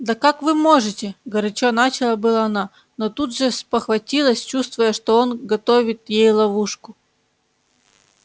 да как вы можете горячо начала было она но тут же спохватилась чувствуя что он готовит ей ловушку